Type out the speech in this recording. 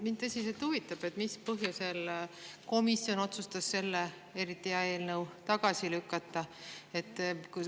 Mind tõsiselt huvitab, mis põhjusel komisjon otsustas selle eriti hea eelnõu tagasi lükata.